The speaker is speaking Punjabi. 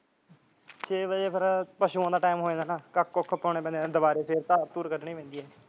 ਛੇ ਵਜੇ ਫਿਰ ਪਸ਼ੂਆਂ ਦਾ ਟਾਈਮ ਹੋ ਜਾਂਦਾ ਹੈ ਕੱਖ ਕੁਖ ਪਾਉਣੇ ਪੈਂਦੇ ਐ ਨਾ ਦੁਬਾਰਾ ਫਿਰ ਧਾਰਾ ਧੁਰਾ ਕੱਢਣੀ ਪੈਂਦੀ ਐ ਨਾ